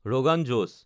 rogan Yash